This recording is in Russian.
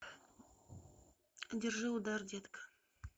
держи удар детка